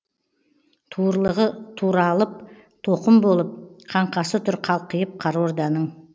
туырлығы туралып тоқым болып қаңқасы тұр қалқиып қара орданың